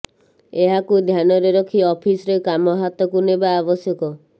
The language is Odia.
ଏହାକୁ ଧ୍ୟାନରେ ରଖି ଅଫିସ୍ରେ କାମ ହାତକୁ ନେବା ଆବଶ୍ୟକ